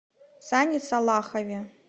сане салахове